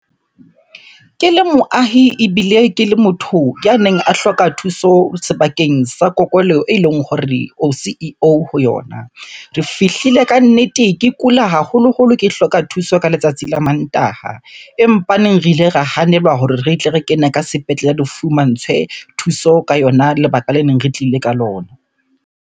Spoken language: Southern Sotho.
Ke le moahi ebile ke le motho ya neng a hloka thuso sebakeng sa kokelo eleng hore o C_E_O ho yona. Re fihlile kannete ke kula haholoholo ke hloka thuso ka letsatsi la Mantaha. Empaneng, re ile ra hanelwa hore re tle re kene ka sepetlele, re fumantshwe thuso ka yona lebaka le neng re tlile ka lona.